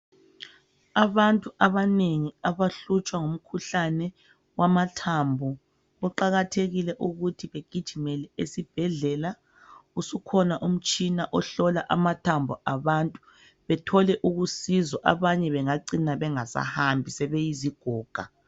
Abantu abanengi abahlutshwa ngumkhuhlane wamathambo kuqakathekile ukuthi begijimele esibhedlela. Usukhona umtshina ohlola amathambo abantu bethole ukusizwa, abanye bengacina bengasahambi sebeyizigoga.